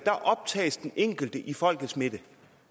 optages den enkelte i folkets midte